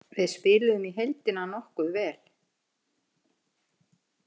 Við spiluðum í heildina nokkuð vel.